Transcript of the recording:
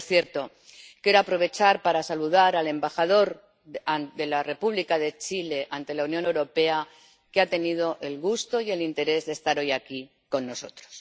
Por cierto, quiero aprovechar para saludar al embajador de la República de Chile ante la Unión Europea, que ha tenido el gusto y el interés de estar hoy aquí con nosotros.